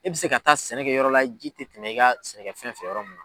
E bɛ se ka taa sɛnɛ kɛ yɔrɔ la ji tɛ tɛmɛ i ka sɛnɛkɛfɛn fɛ yɔrɔ min.